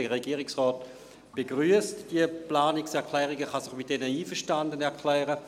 Der Regierungsrat begrüsst diese Planungserklärungen und kann sich mit diesen einverstanden erklären.